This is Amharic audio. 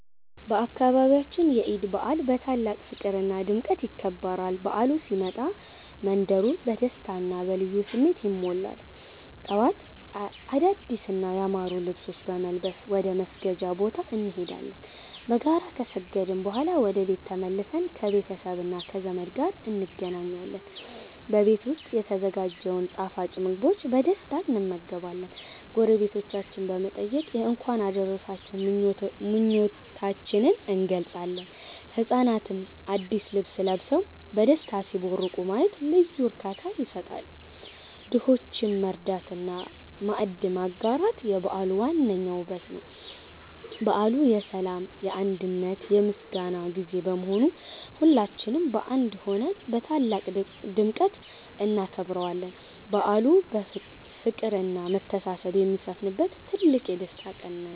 በአካባቢያችን የዒድ በዓል በታላቅ ፍቅርና ድምቀት ይከበራል። በዓሉ ሲመጣ መንደሩ በደስታና በልዩ ስሜት ይሞላል። ጠዋት አዳዲስና ያማሩ ልብሶችን በመልበስ ወደ መስገጃ ቦታ እንሄዳለን። በጋራ ከሰገድን በኋላ ወደ ቤት ተመልሰን ከቤተሰብና ከዘመድ ጋር እንገናኛለን። በቤት ዉስጥ የተዘጋጀውን ጣፋጭ ምግቦችን በደስታ እንመገባለን። ጎረቤቶቻችንን በመጠየቅ የእንኳን አደረሳችሁ ምኞታችንን እንገልጻለን። ህጻናትም አዲስ ልብስ ለብሰው በደስታ ሲቦርቁ ማየት ልዩ እርካታ ይሰጣል። ድሆችን መርዳትና ማዕድ ማጋራት የበዓሉ ዋነኛው ውበት ነው። በዓሉ የሰላም፣ የአንድነትና የምስጋና ጊዜ በመሆኑ ሁላችንም በአንድ ሆነን በታላቅ ድምቀት እናከብረዋለን። በዓሉ ፍቅርና መተሳሰብ የሚሰፍንበት ትልቅ የደስታ ቀን ነው።